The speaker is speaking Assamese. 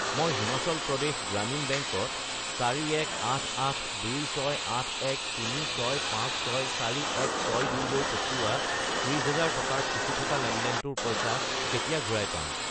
মই হিমাচল প্ৰদেশ গ্ৰামীণ বেংক ত 4188268136564162 লৈ পঠিওৱা 30000 টকাৰ ফচি থকা লেনদেনটোৰ পইচা কেতিয়া ঘূৰাই পাম?